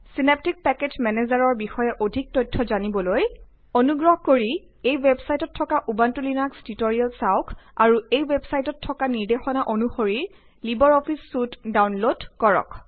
Synaptic package মেনেজাৰৰ বিষয়ে অধিক তথ্য জানিবলৈ অনুগ্ৰহ কৰি এই ৱেবচাইটত থকা উবুন্টু লিনাক্স টিউটৰিয়েল চাওঁক আৰু এই ৱেবচাইটত থকা নিৰ্দেশনা অনুসৰি লিবাৰ অফিচ চুইট ডাওনলড কৰক